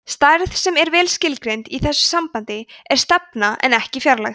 stærð sem er vel skilgreind í þessu sambandi er stefna en ekki fjarlægð